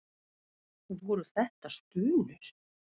Voru þetta stunur?